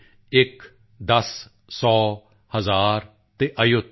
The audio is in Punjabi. ਇੱਕ ਦਸ ਸੌ ਹਜ਼ਾਰ ਅਤੇ ਅਯੁਤ